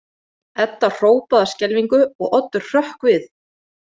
Edda hrópaði af skelfingu og Oddur hrökk við.